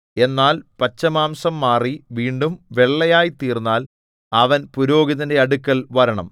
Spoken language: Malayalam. എന്നാൽ പച്ചമാംസം മാറി വീണ്ടും വെള്ളയായി തീർന്നാൽ അവൻ പുരോഹിതന്റെ അടുക്കൽ വരണം